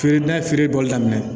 Feere n'a ye feere bɔli daminɛ